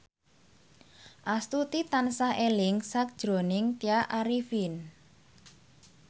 Astuti tansah eling sakjroning Tya Arifin